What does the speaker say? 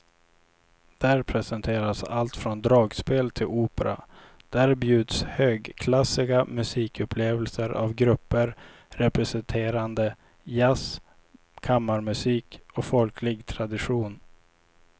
Där presenteras allt från dragspel till opera, där bjuds högklassiga musikupplevelser av grupper representerande jazz, kammarmusik och folklig tradition.